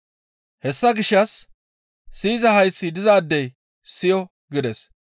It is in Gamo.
Hessa gishshas siyiza hayththi dizaadey siyo!» gides.